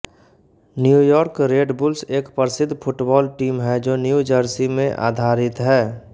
New York Red Bulls एक प्रसिद्ध football team है जो न्यू जर्सी में आधारित है